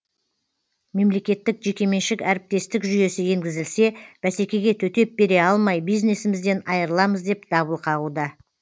мемлекеттік жекеменшік әріптестік жүйесі енгізілсе бәсекеге төтеп бере алмай бизнесімізден айырыламыз деп дабыл қағуда